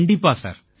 கண்டிப்பா சார்